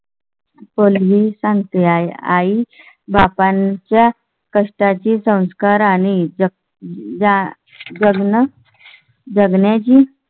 कोली सांगती आहे आई बाबांच्या कष्टा ची संस्कार आणि जा. जगण्या ची.